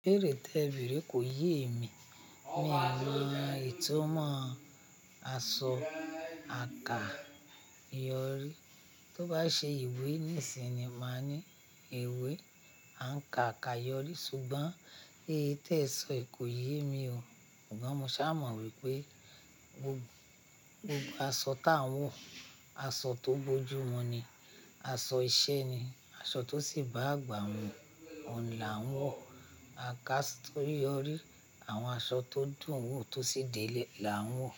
Ìbéèrè tẹ béèrè ko yé emi mi o mọ ìtumọ̀ asọ àka ìyọrí tó bá ṣe ìwé ní sin ni má ní èwe àǹkà àka ìyọrí ṣùgbọ́n èyí tẹ sọ yi kò yé mi o ṣùgbọ́n mo ṣá mọ wípé gbogbo aṣọ tá ń wọ̀ aṣọ tó bójú mu ní aṣọ iṣẹ́ ni, aṣọ tó sì bá àgbà mu ọ̀n là ń wọ̀ àkáàsò ìyọrí àwọn aṣọ tó dùn wò tó sì dè ẹ́ lẹ là ń wọ̀